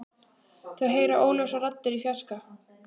Þau heyra óljósar raddir í fjarska.